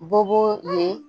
Bɔgɔ ye